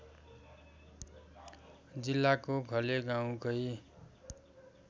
जिल्लाको घले गाउँकै